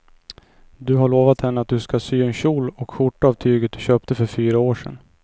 Du har lovat henne att du ska sy en kjol och skjorta av tyget du köpte för fyra år sedan.